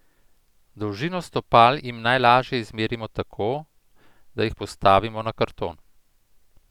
Dolžino stopal jim najlažje izmerimo tako, da jih postavimo na karton.